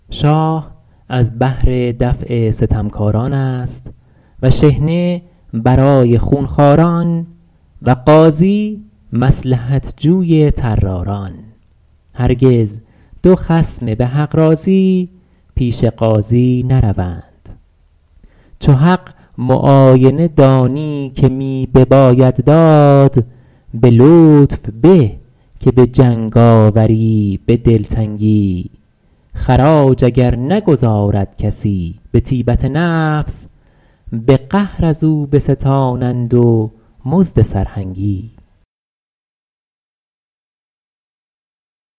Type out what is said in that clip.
شاه از بهر دفع ستمکاران است و شحنه برای خونخواران و قاضی مصلحت جوی طراران هرگز دو خصم به حق راضی پیش قاضی نروند چو حق معاینه دانی که می بباید داد به لطف به که به جنگاوری به دلتنگی خراج اگر نگزارد کسی به طیبت نفس به قهر از او بستانند و مزد سرهنگی